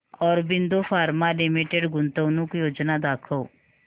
Aurobindo pharma limited गुंतवणूक योजना दाखव